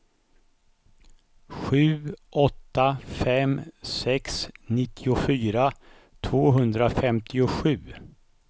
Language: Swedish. sju åtta fem sex nittiofyra tvåhundrafemtiosju